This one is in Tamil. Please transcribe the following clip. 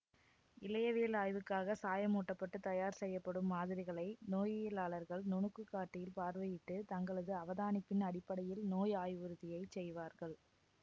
இழையவியல் ஆய்வுக்காக சாயமூட்டப்பட்டு தயார் செய்யப்படும் மாதிரிகளை நோயியலாளர்கள் நுணுக்குக்காட்டியில் பார்வையிட்டு தங்களது அவதானிப்பின் அடிப்படையில் நோய் ஆய்வுறுதியைச் செய்வார்கள்